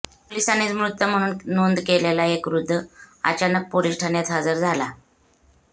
पोलीसांनीच मृत म्हणून नोंद केलेला एक वृद्ध अचानक पोलीस ठाण्यात हजर झाला